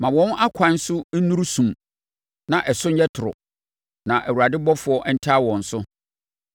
Ma wɔn akwan so nnuru sum na ɛso nyɛ toro, na Awurade ɔbɔfoɔ ntaa wɔn so.